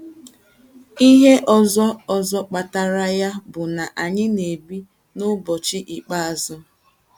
Ihe ọzọ ọzọ kpatara ya bụ na anyị na - ebi n’ụbọchị ikpeazụ.